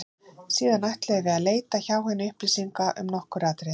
Síðan ætluðum við að leita hjá henni upplýsinga um nokkur atriði.